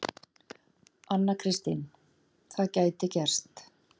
Anna Kristín: Það gæti gerst.